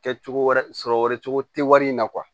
Kɛ cogo wɛrɛ sɔrɔ wɛrɛ cogo tɛ wari in na